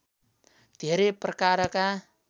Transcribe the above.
धेरै प्रकारका